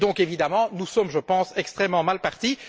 Et donc, évidemment, nous sommes, je pense, extrêmement mal partis.